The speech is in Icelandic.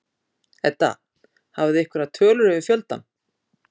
Edda: Hafið þið einhverjar tölur yfir fjöldann?